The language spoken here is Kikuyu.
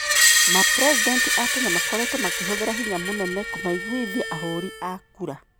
Mapresident aa tene makoritwo makihũthira hinya munene kumaiguithia ahũri aa kura.